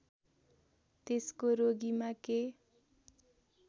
त्यसको रोगीमा के